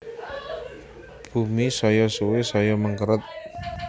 Bumi saya suwe saya mengkeret